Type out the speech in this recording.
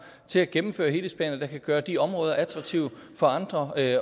til at gennemføre helhedsplaner der kan gøre de områder attraktive for andre at